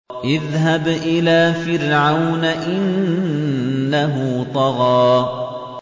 اذْهَبْ إِلَىٰ فِرْعَوْنَ إِنَّهُ طَغَىٰ